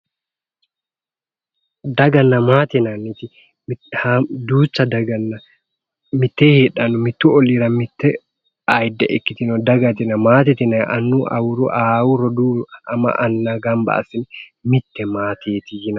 Daganna maate yinanniti haammata duucha daganna mittee heedhanno mittu olliira mitte ayiidde ikkitino dagate yinayiiti. maatete yinayiiti annuyi awuruyi ahaahu rodoowu ama anna gamba assine mitte maateeti yinanni.